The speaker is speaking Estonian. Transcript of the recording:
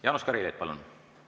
Jaanus Karilaid, palun!